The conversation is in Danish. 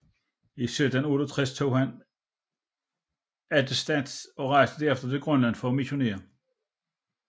I 1768 tog han attestats og rejste derefter til Grønland for at missionere